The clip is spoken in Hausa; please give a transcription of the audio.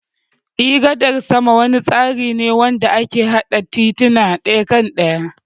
Eh, gadar sama wani tsari ne wanda ake hada tituna daya akan daya.